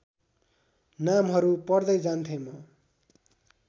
नामहरू पढ्दै जान्थेँ म